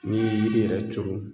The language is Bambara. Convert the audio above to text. N'i ye yiri yɛrɛ turu